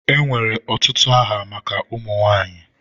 Enwere ọtụtụ aha maka ụmụ nwanyị.